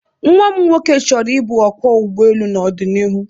Nwa m nwoke chọrọ ịbụ ọkwọ ụgbọelu n'ọdịniihu